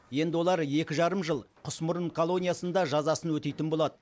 енді олар екі жарым жыл құсмұрын колониясында жазасын өтейтін болады